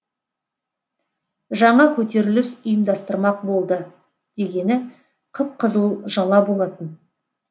жаңа көтеріліс ұйымдастырмақ болды дегені қып қызыл жала болатын